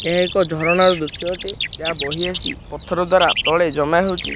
ଏହା ଏକ ଝରଣା ର ଦୃଶ୍ୟ ଅଟେ ଯାହା ବହି ଆସି ପଥର ଦ୍ଵାରା ତଳେ ଜମା ହୋଇଅଛି।